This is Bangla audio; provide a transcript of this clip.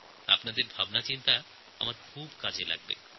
আপনাদের মতামত আমার অনেক কাজে আসবে